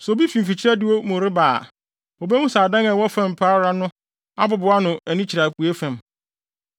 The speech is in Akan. Sɛ obi fi mfikyiri adiwo reba mu a, obehu sɛ adan a ɛwɔ fam pa ara no abobow ano ani kyerɛ apuei fam.